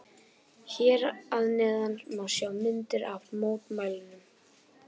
Hér að neðan má sjá myndir af mótmælunum.